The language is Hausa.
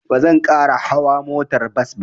Ba zan ƙara hauwa motar bas ba.